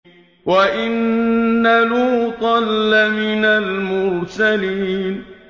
وَإِنَّ لُوطًا لَّمِنَ الْمُرْسَلِينَ